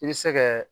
I bɛ se kɛ